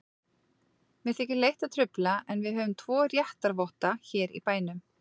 Mér þykir leitt að trufla, en við höfum tvo réttarvotta hér í bænum.